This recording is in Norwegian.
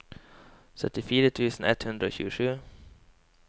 syttifire tusen ett hundre og tjuesju